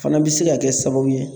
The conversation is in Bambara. Fana bɛ se ka kɛ sababu ye